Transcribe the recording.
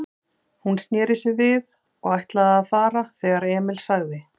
Hún sneri sér við og ætlaði að fara, þegar Emil sagði